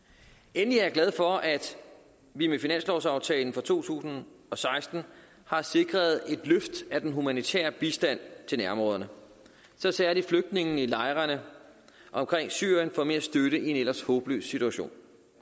endelig er jeg glad for at vi med finanslovsaftalen for to tusind og seksten har sikret et løft af den humanitære bistand til nærområderne så særlig flygtningene i lejrene omkring syrien får mere støtte i en ellers håbløs situation